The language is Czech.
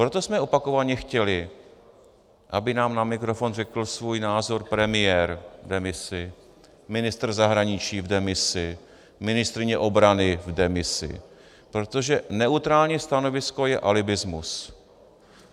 Proto jsme opakovaně chtěli, aby nám na mikrofon řekl svůj názor premiér v demisi, ministr zahraničí v demisi, ministryně obrany v demisi, protože neutrální stanovisko je alibismus.